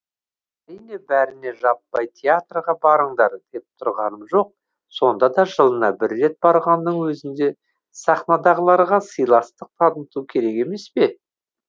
әрине бәріне жаппай театрға барыңдар деп тұрғаным жоқ сонда да жылына бір рет барғанның өзінде сахнадағыларға сыйластық таныту керек емес пе